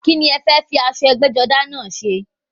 Kíni ẹ fẹ́ fi aṣọ ẹgbẹ́-jọdá náà ṣe?